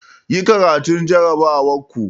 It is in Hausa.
Yi karatun jarrabawar ku!